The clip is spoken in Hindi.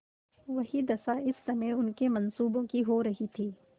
वही दशा इस समय उनके मनसूबों की हो रही थी